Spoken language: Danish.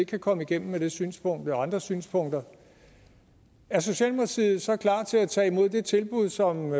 kan komme igennem med det synspunkt eller andre synspunkter er socialdemokratiet så klar til at tage imod det tilbud som